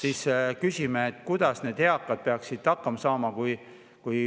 … siis küsida, kuidas eakad peaksid hakkama saama.